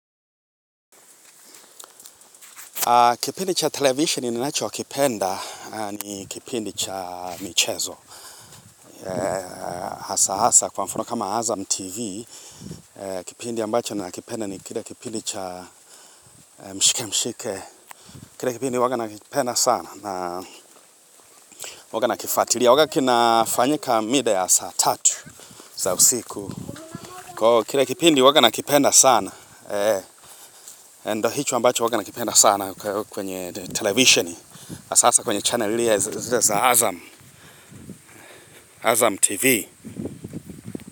Kipindi cha televisheni ninachokipenda ni kipindi cha michezo. Hasa hasa kwa mfano kama Azam TV, kipindi ambacho nakipenda ni kile kipindi cha mshike mshike. Kile kipindi huwaga nakipenda sana na huwaga nakifuatilia. Huwaga kinafanyika mida ya saa tatu za usiku. Kwa hiyo kile kipindi huwaga nakipenda sana. Ndiyo hicho ambacho huwaga nakipenda sana kwenye televisheni. Sasa kwenye chanel zile za Azam, Azam TV.